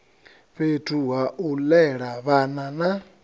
fhethu hau lela vhana na